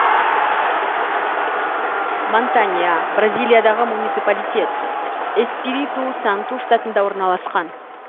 монтанья бразилиядағы муниципалитет эспириту санту штатында орналасқан